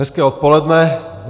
Hezké odpoledne.